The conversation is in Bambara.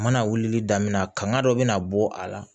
Mana wulili daminɛ kanga dɔ bɛ na bɔ a la